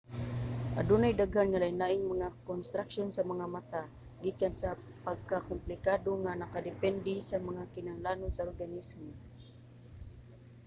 adunay daghan nga lain-laing mga konstruksyon sa mga mata gikan sa pagkakomplikado nga nakadepende sa mga kinahanglanon sa organismo